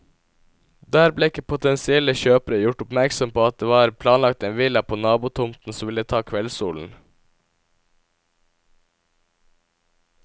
Der ble ikke potensielle kjøpere gjort oppmerksom på at det var planlagt en villa på nabotomten som ville ta kveldssolen.